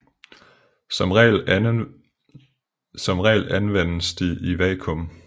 Som regel anvendes de i vakuum